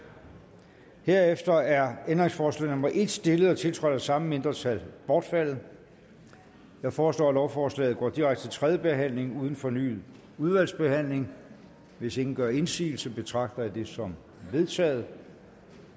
herefter er ændringsforslag nummer en stillet og tiltrådt af de samme mindretal bortfaldet jeg foreslår at lovforslaget går direkte til tredje behandling uden fornyet udvalgsbehandling hvis ingen gør indsigelse betragter jeg det som vedtaget